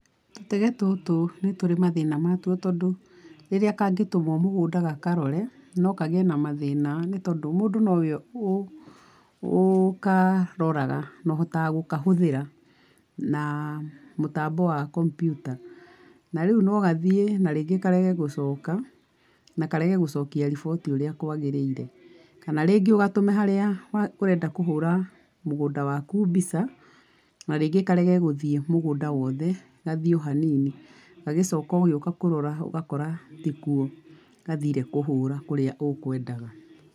Tũtege tũtũ nĩ tũrĩ mathĩna matuo tondũ, rĩrĩa kangĩtũmwo mũgũnda gakarore, no kagĩe na mathĩna nĩ tondũ mũndũ no we ũkaroraga na ũhotaga gũkahũthĩra, na mũtambo wa kompiuta. Na rĩu no gathiĩ na rĩngĩ karege gũcoka, na karege gũcokia riboti ũrĩa kwagĩrĩire. Kana rĩngĩ ũgatũme harĩa ũrenda kũhũra mũgũnda waku mbica, na rĩngĩ karege gũthiĩ mũgũnda wothe gathiĩ o hanini, gagĩcoka ũgĩũka kũrora ũgakora ti kuo gathire kũhũra kũrĩa ũkwendaga.